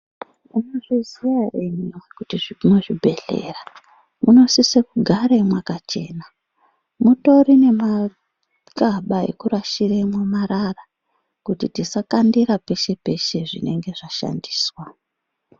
Muno zviziya ere hino kuti mu zvibhedhlera muno sise kugare mwakachena mutori ne makaba eku rashiremwo marara kuti tisa kandira peshe peshe zvinenge zva shandiswa.